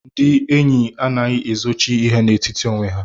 Ndị enyi anaghị ezochi ihe n'etiti onwe ha.